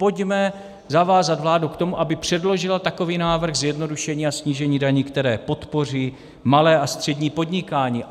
Pojďme zavázat vládu k tomu, aby předložila takový návrh zjednodušení a snížení daní, které podpoří malé a střední podnikání.